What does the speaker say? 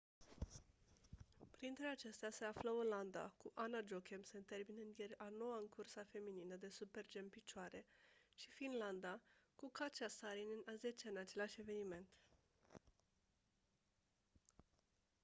printre acestea se află olanda cu anna jochemsen terminând ieri a noua în cursa feminină de super-g în picioare și finlanda cu katja saarinen a zecea în același eveniment